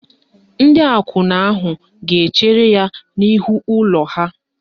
Ndị akwụna ahụ ga-echere ya n'ihu ụlọ ha.